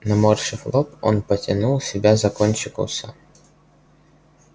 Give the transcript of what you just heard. наморщив лоб он потянул себя за кончик уса